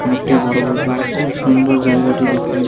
অনেকটাই বড় বলতে গেলে খুব সুন্দর জায়গাটি দেখান--